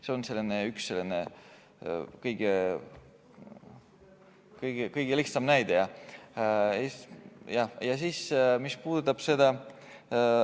See on üks kõige-kõige lihtsamaid näiteid.